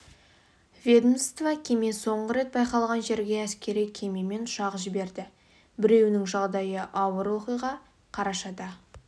ведомство кеме соңғы рет байқалған жерге әскери кеме мен ұшақ жіберді біреуінің жағдайы ауыр оқиға қарашада